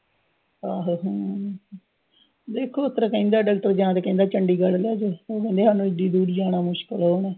ਆਹੋ ਹਮ ਦੇਖੋ ਡਾਕਟਰ ਕਹਿੰਦਾ, ਡਾਕਟਰ ਜਾਂ ਤਾਂ ਕਹਿੰਦਾ ਚੰਡੀਗੜ੍ਹ ਲੈਜੋ। ਹੁਣ ਲੁਧਿਆਣਿਓਂ ਐਡੀ ਦੂਰ ਜਾਣਾ ਮੁਸ਼ਕਿਲ ਆ ਉਹਨੂੰ।